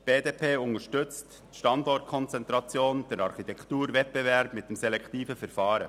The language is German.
Die BDP unterstützt die Standortkonzentration und den Architekturwettbewerb mit dem selektiven Verfahren.